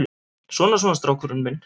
Svona, svona, strákurinn minn.